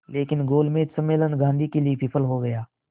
लेकिन गोलमेज सम्मेलन गांधी के लिए विफल हो गया